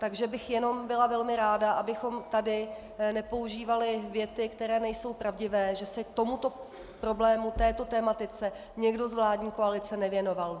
Takže bych jenom byla velmi ráda, abychom tady nepoužívali věty, které nejsou pravdivé, že se tomuto problému, této tematice, někdo z vládní koalice nevěnoval.